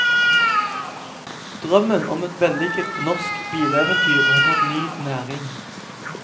Drømmen om et vellykket norsk bileventyr har fått ny næring.